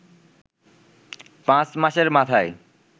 পাঁচ মাসের মাথায়